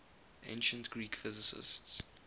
ancient greek physicists